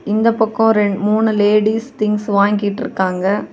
இந்த பக்கம் ரென் மூணு லேடீஸ் திங்ஸ் வாங்கிட்ருக்காங்க.